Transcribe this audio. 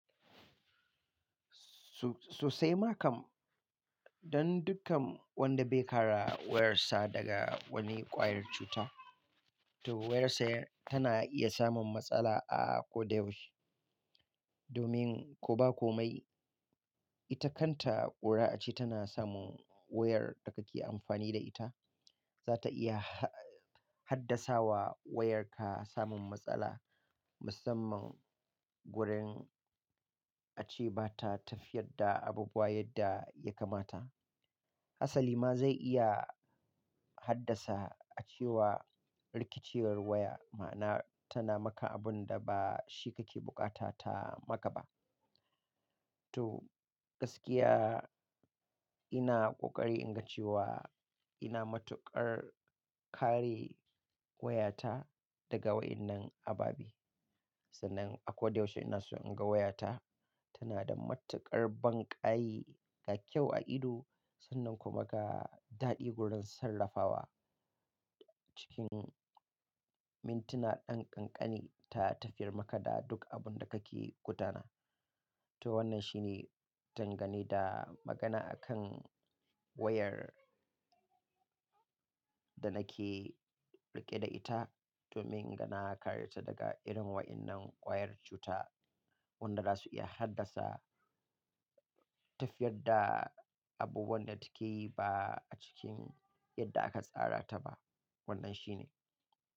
So-sosai ma kam, don dukkan wanda bai kara wayar sa daga wani ƙwayar cuta, to wayar sa tana iya samun matsala a ko da yaushe. Domin ko ba komai, ita kanta ƙura ace tana samun wayar da kake amfani da ita, za ta iya ha-haddasa wa wayarka samun matsala musamman gurin a ce ba ta tafiyar da abubuwa yadda ya kamata. Hasali ma zai iya haddasa a cewa rikiciyar waya, ma'ana tana maka abun da ba shi kake bukata ta maka ba. To gaskiya ina ƙoƙari in ga cewa ina matuƙar kare wayata daga waɗannan ababe. Sannan a ko da yaushe ina so in ga wayata tana da matuƙar banƙayi ga kyau a ido, sannan kuma ga daɗi gurin sarrafawa cikin mintuna ɗan ƙanƙani ta tafiyar maka da duk abun da kake gudana To wannan shi ne dangane da magana akan wayar da nake riƙe da ita, domin yana ƙare ta daga irin waɗannan ƙwayar cuta wanda za su iya haddasa tafiyar da abubuwan da take yi ba a cikin yadda aka tsara ta ba. Wannan shi ne.